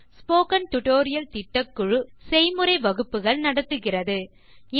spoken tutorial திட்டக்குழு spoken tutorial களை பயன்படுத்தி செய்முறை வகுப்புகள் நடத்துகிறது